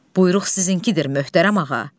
Buyruq sizinkidir möhtərəm ağa.